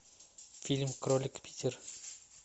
фильм кролик питер